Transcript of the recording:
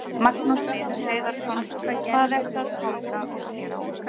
Magnús Hlynur Hreiðarsson: Hvað eru að tálga og skera út?